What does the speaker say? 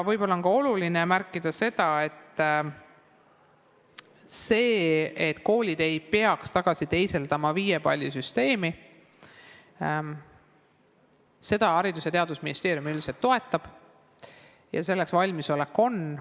Võib-olla on oluline märkida, et seda, et koolid ei peaks hindeid tagasi teisendama viiepallisüsteemi, Haridus- ja Teadusministeerium üldiselt toetab ja selleks valmisolek on.